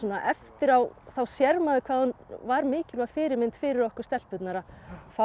eftir á þá sér maður hvað hún var mikilvæg fyrirmynd fyrir okkur stelpurnar að fá